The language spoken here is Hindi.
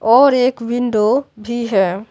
और एक विंडो भी है।